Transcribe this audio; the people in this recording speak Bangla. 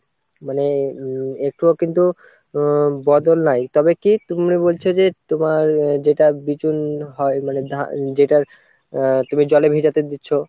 মানে উম একটুও কিন্তু বদল নাই তবে কি তুমি বলছো যে তোমার যেটা বিছুন হয় মানে যেটার আহ তুমি জলে ভেজাতে দিচ্ছ